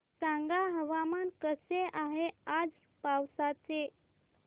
सांगा हवामान कसे आहे आज पावस चे